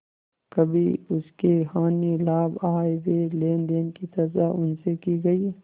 कभी उसके हानिलाभ आयव्यय लेनदेन की चर्चा उनसे की गयी